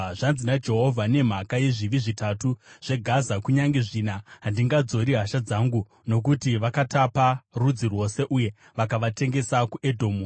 Zvanzi naJehovha: “Nemhaka yezvivi zvitatu zveGaza, kunyange zvina, handingadzori hasha dzangu. Nokuti vakatapa rudzi rwose uye vakavatengesa kuEdhomu,